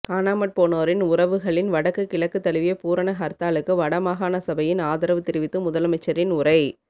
காணாமற் போனோரின் உறவுகளின் வடக்கு கிழக்கு தழுவிய பூரண ஹர்த்தாலுக்கு வட மாகாணசபையின் ஆதரவு தெரிவித்து முதலமைச்சரின் உரை